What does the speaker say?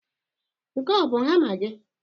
Nke a ọ bụ hama gị?